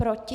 Proti?